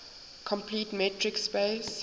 complete metric space